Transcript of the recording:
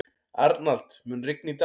Arnald, mun rigna í dag?